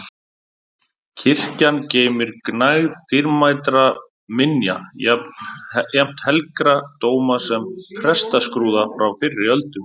Kirkjan geymir gnægð dýrmætra minja, jafnt helgra dóma sem prestaskrúða frá fyrri öldum.